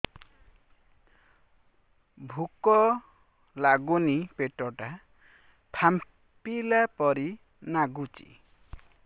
ଭୁକ ଲାଗୁନି ପେଟ ଟା ଫାମ୍ପିଲା ପରି ନାଗୁଚି